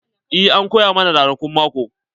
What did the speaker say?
Eh an koya mana ranakun mako.